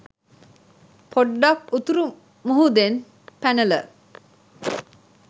පොඩ්ඩක් උතුරු මුහුදෙන් පැනල